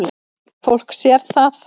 Fólk sér það.